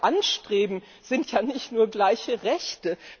Was wir anstreben, sind ja nicht nur gleiche Rechte